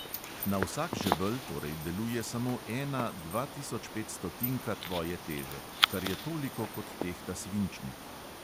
Na vsak žebelj torej deluje samo ena dvatisočpetstotinka tvoje teže, kar je toliko, kot tehta svinčnik.